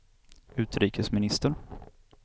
utrikesminister